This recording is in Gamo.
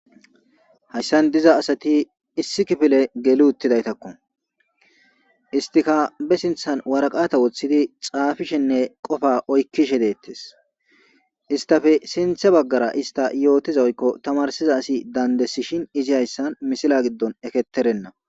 Hayssan diza asati issi kifile geli uttidaytakko istika be sinthan waraqata woththidi xaafishenne qofa oykkishe deettes istafe sinthe baggara ista yootiza oykko tamarsiza asi dandesishin izi hayssan misila giddon eketerenna.